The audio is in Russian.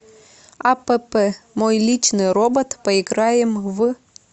апп мой личный робот поиграем в